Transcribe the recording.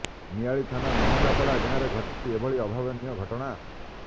ନିଆଳି ଥାନା ମହଙ୍ଗପଡା ଗାଁରେ ଘଟିଛି ଏଭଳି ଅଭାବନୀୟ ଘଟଣା